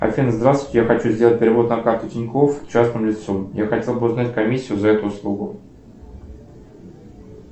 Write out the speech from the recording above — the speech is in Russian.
афина здравствуйте я хочу сделать перевод на карту тинькофф частному лицу я хотел бы узнать комиссию за эту услугу